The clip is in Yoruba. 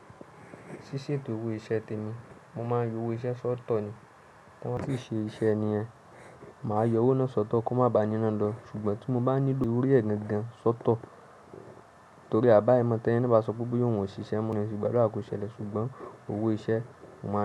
Ṣíṣe to owo iṣẹ́ tẹmi, mo máa ń yọ owó iṣẹ́ sọ́tọ̀ ni. Tí wọ́n bá ṣì ṣe iṣẹ́ nìyẹn, màá yọ owó náà sọ́tọ̀ kí wọ́n má ba ni iná lọ. Ṣùgbọ́n tí mo bá nílò torí ẹ̀ gangan sọ́tọ̀ torí àbáimọ̀ tẹ́ni na bá sọ pé boya oun o ṣiṣẹ́, mo ní ìṣùgbálọ́ kò ṣẹlẹ̀. Ṣùgbọ́n owó iṣẹ́, mo máa ń lọ.